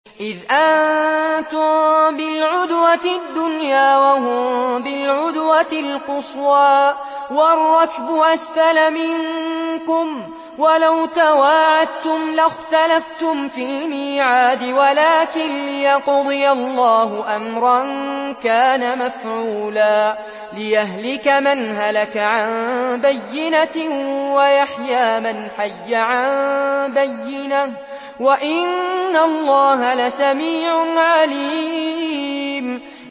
إِذْ أَنتُم بِالْعُدْوَةِ الدُّنْيَا وَهُم بِالْعُدْوَةِ الْقُصْوَىٰ وَالرَّكْبُ أَسْفَلَ مِنكُمْ ۚ وَلَوْ تَوَاعَدتُّمْ لَاخْتَلَفْتُمْ فِي الْمِيعَادِ ۙ وَلَٰكِن لِّيَقْضِيَ اللَّهُ أَمْرًا كَانَ مَفْعُولًا لِّيَهْلِكَ مَنْ هَلَكَ عَن بَيِّنَةٍ وَيَحْيَىٰ مَنْ حَيَّ عَن بَيِّنَةٍ ۗ وَإِنَّ اللَّهَ لَسَمِيعٌ عَلِيمٌ